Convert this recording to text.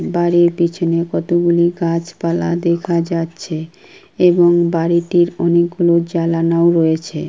বাড়ির পিছনে কতগুলি গাছ পালা দেখা যাচ্ছে এবং বাড়িটির অনেক গুলো জালানাও রয়েছে।